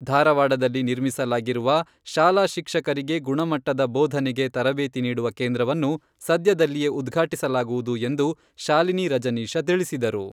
ಧಾರವಾಡದಲ್ಲಿ ನಿರ್ಮಿಸಲಾಗಿರುವ, ಶಾಲಾ ಶಿಕ್ಷಕರಿಗೆ ಗುಣಮಟ್ಟದ ಬೋಧನೆಗೆ ತರಬೇತಿ ನೀಡುವ ಕೇಂದ್ರವನ್ನು ಸದ್ಯದಲ್ಲಿಯೇ ಉದ್ಘಾಟಿಸಲಾಗುವುದು ಎಂದು ಶಾಲಿನಿ ರಜನೀಶ ತಿಳಿಸಿದರು.